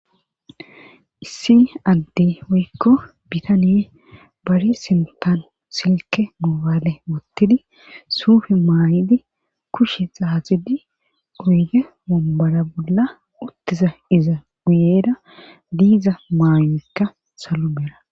Issi addey woykko bitaney bare sinttan mobayle wottidi suufe mayidi kushe xaaxid oyde wommbara bolla utttiza iza guyeera diza maayoykka salo mela